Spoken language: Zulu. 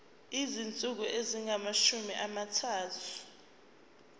izinsuku ezingamashumi amathathu